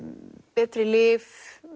betri lyf